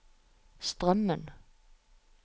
Strømmen